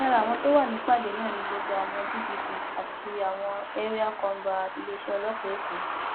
lára àwọn tó wà nípàdé náà ni gbogbo àwọn dpp àti àwọn ẹríà kọńbà iléeṣẹ ọlọpàá èkó